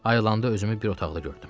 Ayılanda özümü bir otaqda gördüm.